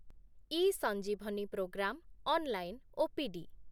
eSanjeevani programme online OPD